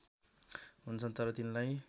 हुन्छन् तर तिनलाई